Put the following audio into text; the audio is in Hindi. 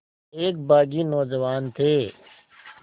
एक बाग़ी नौजवान थे